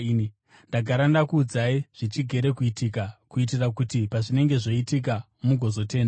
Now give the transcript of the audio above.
Ndagara ndakuudzai zvichigere kuitika, kuitira kuti pazvinenge zvoitika mugozotenda.